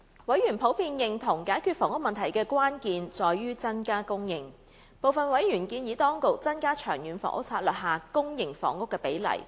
委員普遍認同解決房屋問題的關鍵在於增加供應，部分委員建議當局增加《長遠房屋策略》下公營房屋比例。